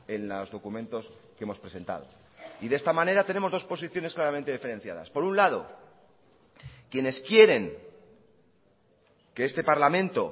en los documentos que hemos presentado y de esta manera tenemos dos posiciones claramente diferenciadas por un lado quienes quieren que este parlamento